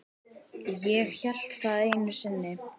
Ég hélt það einu sinni.